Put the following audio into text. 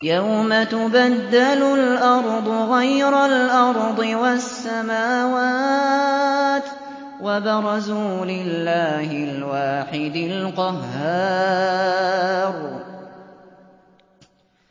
يَوْمَ تُبَدَّلُ الْأَرْضُ غَيْرَ الْأَرْضِ وَالسَّمَاوَاتُ ۖ وَبَرَزُوا لِلَّهِ الْوَاحِدِ الْقَهَّارِ